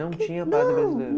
Não tinha padre brasileiro?